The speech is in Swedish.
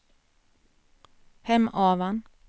Hemavan